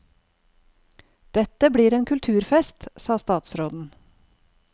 Dette blir en kulturfest, sa statsråden.